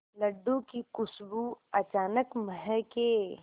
लड्डू की खुशबू अचानक महके